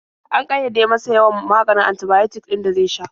An ƙayyade masa yawan maganin antibiotic ɗin da zai sha.